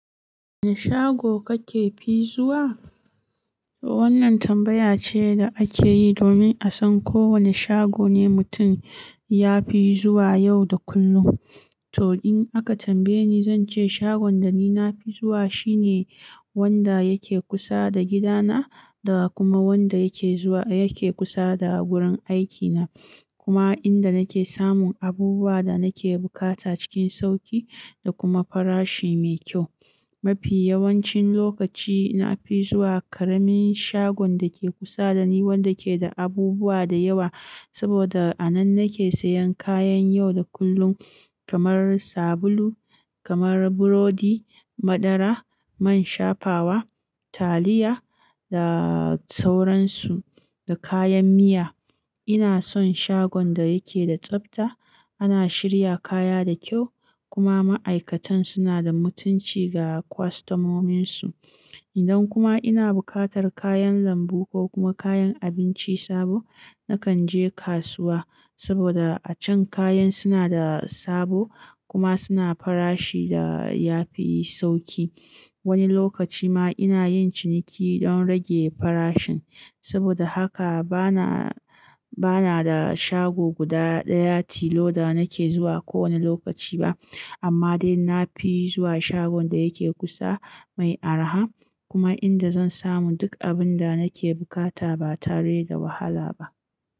Wane shago kake fi zuwa? Wannan tambaya ce da ake yi domin a san ko wane shago ne mutum ya fi zuwa yau da kullum. To, in aka tambaye ni, zan ce shagon da ni na fi zuwa shine wanda yake kusa da gidana da kuma wanda yake kusa da wurin aikina, kuma inda nake samun abubuwan da nake bukata cikin sauƙi da kuma farashi mai kyau. Mafi yawancin lokaci, na fi zuwa ƙaramin shagon da ke kusa da ni, wanda ke da abubuwa da yawa. Saboda a nan nake sayan kayan yau da kullum kamar sabulu, burodi, madara, man shafawa, taliya da sauransu, da kayan miya. Ina son shagon da yake da tsafta, ana shirya kaya da kyau, kuma ma'aikatan suna da mutunci ga kwastamominsu. Idan kuma ina buƙatar kayan lambu ko kuma kayan abinci sabo, nakan je kasuwa saboda a can kayan suna da sabo kuma suna farashi da ya fi sauƙi. Wani lokaci ma ina yin ciniki don rage farashin. Saboda haka bana da shago guda ɗaya tilo da nake zuwa kowane lokaci ba. Amma dai na fi zuwa shagon da yake kusa, mai araha kuma inda zan samu duk abin da nake buƙata ba tare da wahala ba.